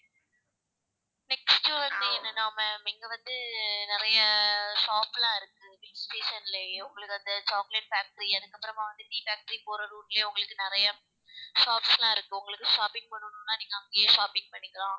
next வந்து என்னனா ma'am இங்க வந்து நறைய அஹ் shop லாம் இருக்கு Hill station லயும் உங்களுக்கு அந்த chocolate factory அதுக்கப்பறமா வந்து tea factory போற route லயும் உங்களுக்கு நிறைய shops லாம் இருக்கு உங்களுக்கு shopping பண்ணனும்னா நீங்க அங்கயே shopping பண்ணிக்கலாம்